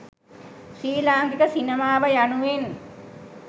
ශ්‍රී ලාංකික සිනමාව යනුවෙන්